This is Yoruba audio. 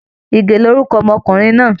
Ìgè lórúkọ ọmọkùnrin náà